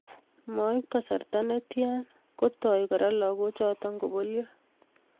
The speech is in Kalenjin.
Moib kasarta netia kotoi Kora lagochoto kobolyo